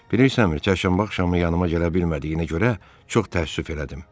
Bilirsənmi, çərşənbə axşamı yanıma gələ bilmədiyinə görə çox təəssüf elədim.